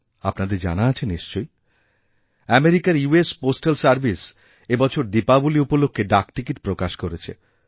আপনাদের জানা আছে নিশ্চয়ই আমেরিকার ইউ এস পোস্টাল সার্ভিস এই বছর দীপাবলীউপলক্ষে ডাকটিকিট প্রকাশ করেছে